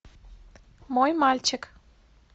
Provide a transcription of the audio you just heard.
мой мальчик